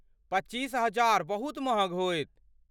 पच्चीस हजार बहुत महँग होयत।